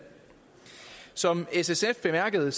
som ssf bemærkede